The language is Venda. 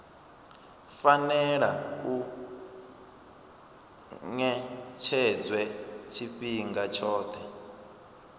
fanela u ṅetshedzwa tshifhinga tshoṱhe